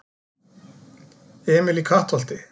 Emil í Kattholti